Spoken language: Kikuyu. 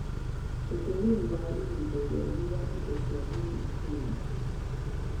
Ũtũmĩri wa ihinda iraihu wa indo cia gĩthitima,